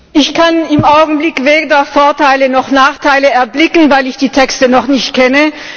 Ich kann im Augenblick weder Vorteile noch Nachteile erblicken, weil ich die Texte noch nicht kenne.